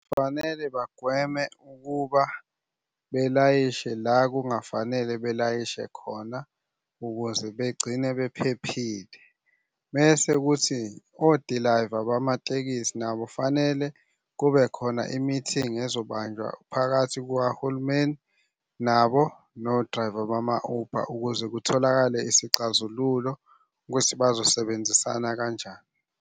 Fanele bagweme ukuba belayishe la kungafanele belayishe khona, ukuze begcine bephephile. Mese kuthi odilayiva bamatekisi nabo fanele kube khona i-meeting ezobanjwa phakathi kukahulumeni nabo no-driver bama-Uber ukuze kutholakale isixazululo ukuthi bazosebenzisana kanjani.